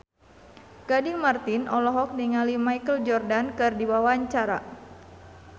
Gading Marten olohok ningali Michael Jordan keur diwawancara